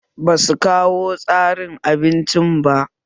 Basu kawo tsarin abincin ba